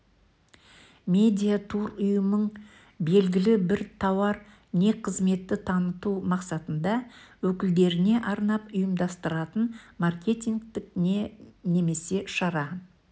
медиа-тур ұйымың белгілі бір тауар не қызметті таныту мақсатында өкілдеріне арнап ұйымдастыратын маркетингтік не немесе шара